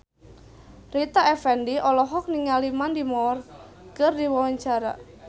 Rita Effendy olohok ningali Mandy Moore keur diwawancara